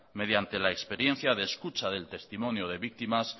mediante la experiencia de escucha del testimonio de víctimas